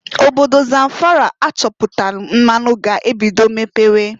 Obodo Zamfara achọpụtalụ mmanụ ga-ebido mepewe.